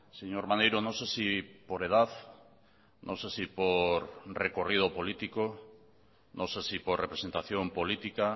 señor maneiro no sé si por edad no sé si por recorrido político no sé si por representación política